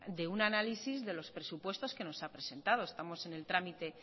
de un análisis de unos presupuestos que nos ha presentado estamos en el trámite